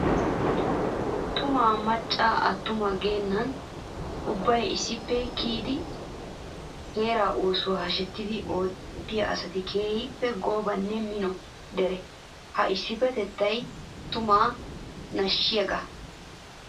Tumma maca atumma geenan ubbay issippe kiyiddi heera oosuwa hashettiddi ootiya asatti keehippe goobanne mino deree. Ha issipetettay tuma nashisiyaaga.